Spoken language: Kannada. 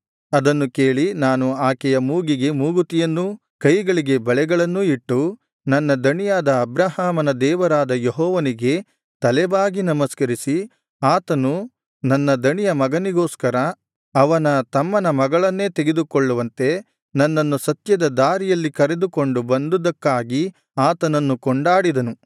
ಅದನ್ನು ಕೇಳಿ ನಾನು ಆಕೆಯ ಮೂಗಿಗೆ ಮೂಗುತಿಯನ್ನೂ ಕೈಗಳಿಗೆ ಬಳೆಗಳನ್ನೂ ಇಟ್ಟು ನನ್ನ ದಣಿಯಾದ ಅಬ್ರಹಾಮನ ದೇವರಾದ ಯೆಹೋವನಿಗೆ ತಲೆಬಾಗಿ ನಮಸ್ಕರಿಸಿ ಆತನು ನನ್ನ ದಣಿಯ ಮಗನಿಗೋಸ್ಕರ ಅವನ ತಮ್ಮನ ಮಗಳನ್ನೇ ತೆಗೆದುಕೊಳ್ಳುವಂತೆ ನನ್ನನ್ನು ಸತ್ಯದ ದಾರಿಯಲ್ಲಿ ಕರೆದುಕೊಂಡು ಬಂದುದಕ್ಕಾಗಿ ಆತನನ್ನು ಕೊಂಡಾಡಿದನು